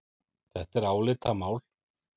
Þetta er álitamál.